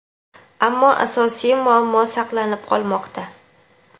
ammo asosiy muammo saqlanib qolmoqda.